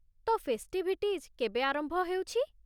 ତ, ଫେଷ୍ଟିଭିଟିଜ୍ କେବେ ଆରମ୍ଭ ହେଉଛି?